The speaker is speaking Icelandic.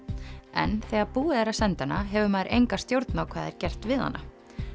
en þegar búið er að senda hana hefur maður enga stjórn á hvað er gert við hana